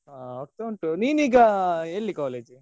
ಹಾ ಆಗ್ತಾ ಉಂಟು ನಿನ್ ಈಗ ಎಲ್ಲಿ college ?